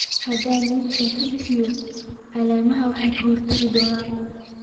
Haddii nitrogen ka badan yahay, caleemaha way kordhi doonaan.